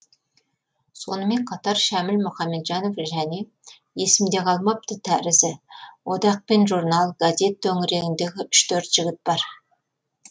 сонымен қатар шәміл мұхамеджанов және есімде қалмапты тәрізі одақ пен журнал газет төңірегіндегі үш төрт жігіт бар